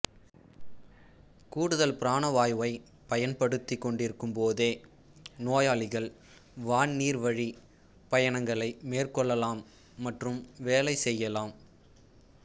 கூடுதல் பிராணவாயுவைப் பயன்படுத்திக் கொண்டிருக்கும்போதே நோயாளிகள் வான் நீர் வழி பயணங்களை மேற்கொள்ளலாம் மற்றும் வேலை செய்யலாம்